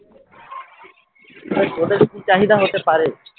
ওদের ওদেরও কি চাহিদা হতে পারে?